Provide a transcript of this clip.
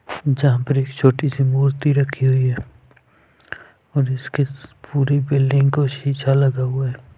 जहाँ पर एक छोटी सी मूर्ति रखी हुई है और इसके पूरे बिल्डिंग को शीशा लगा हुआ है।